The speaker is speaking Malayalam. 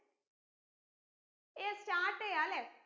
yes start എയ്യാ ലെ